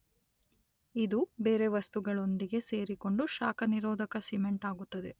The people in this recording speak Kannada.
ಇದು ಬೇರೆ ವಸ್ತುಗಳೊಂದಿಗೆ ಸೇರಿಕೊಂಡು ಶಾಖ ನಿರೋಧಕ ಸಿಮೆಂಟ್ ಆಗುತ್ತದೆ.